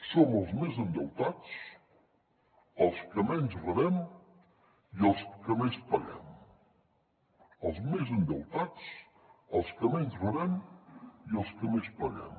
som els més endeutats els que menys rebem i els que més paguem els més endeutats els que menys rebem i els que més paguem